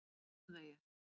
Grænhöfðaeyjar